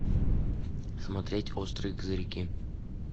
смотреть острые козырьки